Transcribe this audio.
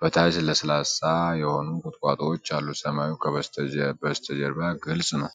በታች ለስላሳ የሆኑ ቁጥቋጦዎች አሉ። ሰማዩ በስተጀርባ ግልጽ ነው።